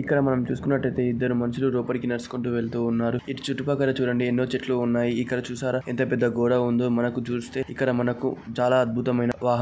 ఇక్కడ మనము చూసుకున్నట్లయితే ఇద్దరు మనుషులు లోపలికి నడుచుకుంటూ వెళ్తున్నారు. ఇటు చుట్టుపక్కల చూడండి ఎన్నో చెట్లు ఉన్నాయి. ఇక్కడ చూశారా ఎంత పెద్ద గోడ ఉందో .మనకు చూస్తే ఇక్కడ మనకు చాలా అద్భుతమైన వాహనాలు